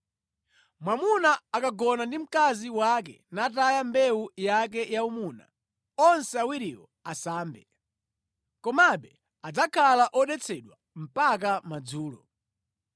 Mwamuna akagona ndi mkazi wake nataya mbewu yake yaumuna, onse awiriwo asambe. Komabe adzakhala odetsedwa mpaka madzulo.